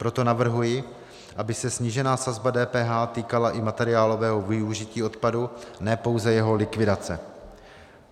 Proto navrhuji, aby se snížená sazba DPH týkala i materiálového využití odpadu, ne pouze jeho likvidace.